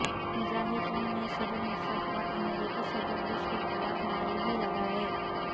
مظاہرین نے صدر مشرف اور امریکی صدر بش کے خلاف نعرے بھی لگائے